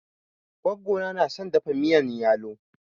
Gogo na na son dafa miyan yalo.